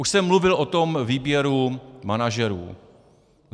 Už jsem mluvil o tom výběru manažerů.